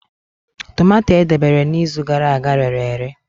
Tomato o debere n'izu gara aga rere ere.